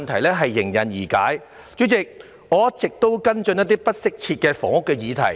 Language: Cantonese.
代理主席，我一直有跟進不適切房屋的議題。